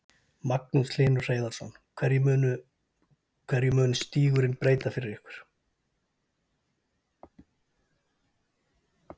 Magnús Hlynur Hreiðarsson: Hverju mun stígurinn breyta fyrir ykkur?